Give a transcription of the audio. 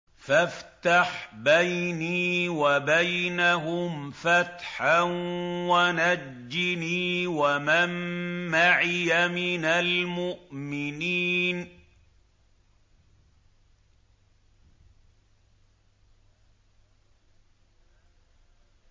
فَافْتَحْ بَيْنِي وَبَيْنَهُمْ فَتْحًا وَنَجِّنِي وَمَن مَّعِيَ مِنَ الْمُؤْمِنِينَ